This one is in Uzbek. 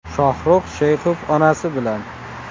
Shohruh Sheyxov onasi bilan.